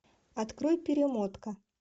открой перемотка